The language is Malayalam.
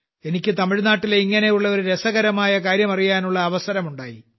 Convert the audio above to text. എനിക്ക് തമിഴ്നാട്ടിലെ ഇങ്ങനെയുള്ള ഒരു രസകരമായ കാര്യം അറിയാനുള്ള അവസരമുണ്ടായി